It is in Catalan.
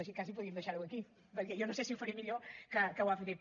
així quasi podríem deixar ho aquí perquè jo no sé si ho faré millor que ho ha fet ell